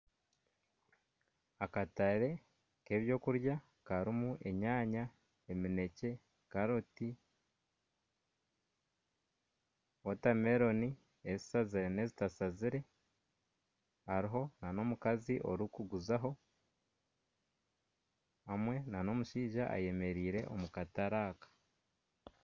Akatare k'ebyokurya karimu enyaanya, eminekye, karoti, wotameloni ezishazire n'ezitashazire hariho n'omukazi orikuguzaho hamwe n'omushaija ayemereire omu katare aka.